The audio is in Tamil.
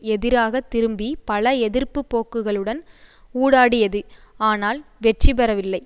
எதிராக திரும்பி பல எதிர்ப்பு போக்குகளுடன் ஊடாடியது ஆனால் வெற்றிபெவில்லை